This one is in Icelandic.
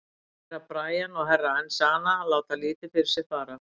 Herra Brian og Herra Enzana létu lítið fyrir sér fara.